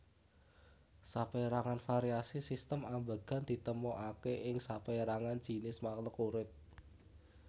Sapérangan variasi sistem ambegan ditemoaké ing sapérangan jinis makluk urip